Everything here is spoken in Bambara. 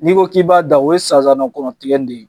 N'i ko k'i b'a da, o ye sansanna kɔnɔ tigɛli de ye.